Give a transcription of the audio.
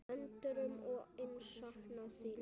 Endrum og eins saknað þín.